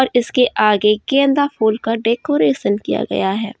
इसके आगे गेंदा फूल का डेकोरेशन किया गया है।